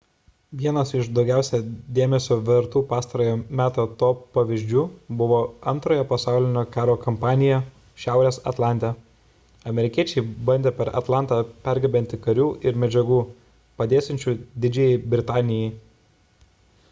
vienas iš daugiausia dėmesio vertų pastarojo meto to pavyzdžių buvo antrojo pasaulinio karo kampanija šiaurės atlante amerikiečiai bandė per atlantą pergabenti karių ir medžiagų padėsiančių didžiajai britanijai